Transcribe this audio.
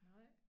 Nej